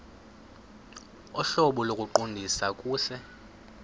ohlobo lokuqondisa kuse